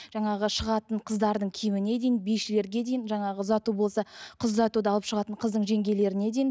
жаңағы шығатын қыздардың киіміне дейін бишілерге дейін жаңағы ұзату болса қыз ұзатуда алып шығатын қыздың жеңгелеріне дейін